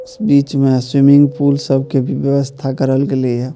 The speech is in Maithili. इस बीच में स्विमिंग पूल सब के भी व्यवस्था करल गेले या।